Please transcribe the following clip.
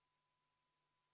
Istungi lõpp kell 17.39